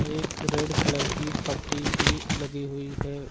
एक red colour की पट्टी भी लगी हुई है।